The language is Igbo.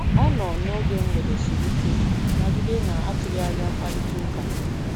Ọ nọ n'oge mgbede siri ike nagide na atụghị anya mkparịtaụka.